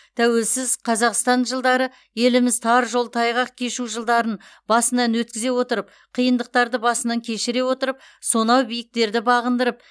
тәуелсіз қазақстан жылдары еліміз тар жол тайғақ кешу жылдарын басынан өткізе отырып қиындықтарды басынан кешіре отырып сонау биіктерді бағындырып